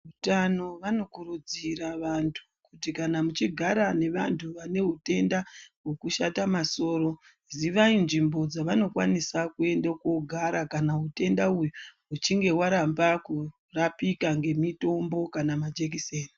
Veutano vanokurudzira vanthu, kuti kana muchigara nevanthu vane hutenda, hwekushata masoro, zivai nzvimbo dzavanokwanisa kuenda koogara, kana utenda uyu uchinge hwaramba kurapika ngemitombo kana majekiseni.